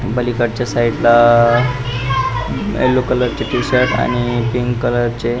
पलिकड च साइड ला yellow colour चे टीशर्ट आणि पिंक कलर चे --